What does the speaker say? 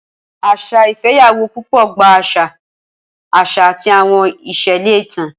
Asa ifeyawo pupo gba àṣà, àṣà, àti àwọn ìṣẹ̀lẹ̀ ìtàn.